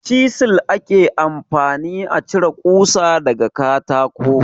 Cizel ake amfani a cire kusa daga katako.